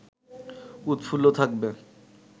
উৎফুল্ল থাকবে